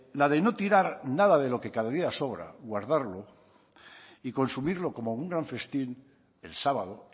la de no tirar nada de lo que cada día sobra guardarlo y consumirlo como un gran festín el sábado